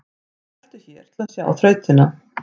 Smelltu hér til að sjá þrautina